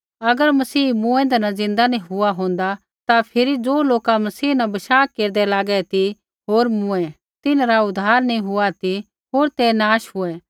अगर मसीह मूँऐंदै न ज़िन्दा नी हुआ होन्दा ता फिरी ज़ो लोका मसीह न बशाह केरदै लागै ती होर मूँऐ तिन्हरा उद्धार नैंई हुआ ती होर ते नाश हुऐ